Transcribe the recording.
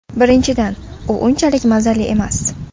Birinchidan, u unchalik mazali emas.